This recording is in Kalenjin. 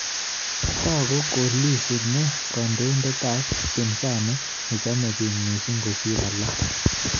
Tagu ko Lissu ne kandoindet ab upinsani ne chame biik missing kosir alaak